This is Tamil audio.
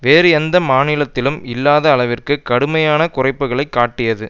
வேறு எந்த மாநிலத்திலும் இல்லாத அளவிற்கு கடுமையான குறைப்புக்களைக் காட்டியது